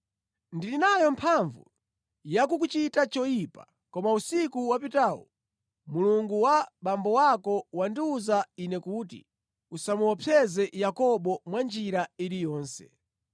Ndili nayo mphamvu yakukuchita choyipa; koma usiku wapitawu, Mulungu wa abambo ako wandiwuza ine kuti, ‘Usamuopseze Yakobo mwa njira iliyonse.’